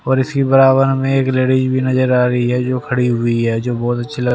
और इसके बराबर हमें एक लेडीस भी नजर आ रही है। जो खड़ी हुई है जो बहोत अच्छी लग--